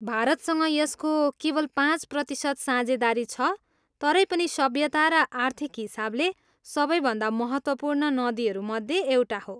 भारतसँग यसको केवल पाँच प्रतिसत साझेदारी छ, तरै पनि सभ्यता र आर्थिक हिसाबले सबैभन्दा महत्त्वपूर्ण नदीहरू मध्ये एउटा हो।